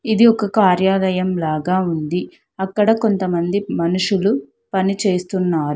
ఇది ఒక కార్యాలయం లాగా ఉంది అక్కడ కొంతమంది మనుషులు పనిచేస్తున్నారు.